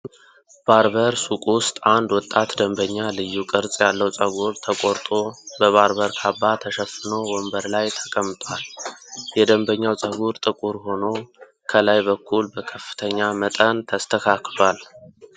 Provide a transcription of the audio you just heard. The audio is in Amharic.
ባርበር ሱቅ ውስጥ አንድ ወጣት ደንበኛ ልዩ ቅርጽ ያለው ፀጉር ተቆርጦ በባርበር ካባ ተሸፍኖ ወንበር ላይ ተቀምጧል። የደንበኛው ፀጉር ጥቁር ሆኖ ከላይ በኩል በከፍተኛ መጠን ተስተካክሏል።